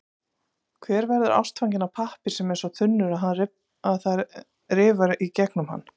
Hver verður ástfanginn af pappír sem er svo þunnur, að það rifar í gegnum hann?